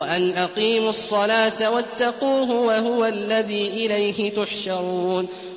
وَأَنْ أَقِيمُوا الصَّلَاةَ وَاتَّقُوهُ ۚ وَهُوَ الَّذِي إِلَيْهِ تُحْشَرُونَ